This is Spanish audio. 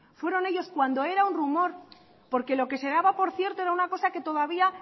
fueron ellos cuando era un rumor porque lo que se daba por cierto era una cosa que todavía